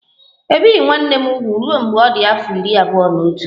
E bieghị nwanne m úgwù ruo mgbe ọ dị afọ iri abụọ na otu